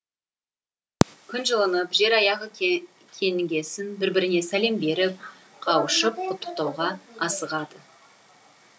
күн жылынып жер аяғы кеңігесін бір біріне сәлем беріп қауышып құттықтауға асығады